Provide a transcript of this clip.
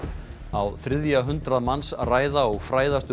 á þriðja hundrað manns ræða og fræðast um